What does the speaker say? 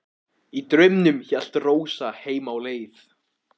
Og í draumnum hélt Rósa heim á leið.